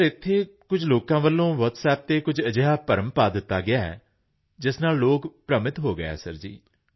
sir ji ਇੱਥੇ ਕੁਝ ਲੋਕਾਂ ਵੱਲੋਂ ਕੁਝ WhatsApp ਤੇ ਅਜਿਹਾ ਭਰਮ ਪਾ ਦਿੱਤਾ ਗਿਆ ਕਿ ਉਸ ਨਾਲ ਲੋਕ ਭ੍ਰਮਿਤ ਹੋ ਗਏ ਸਰ ਜੀ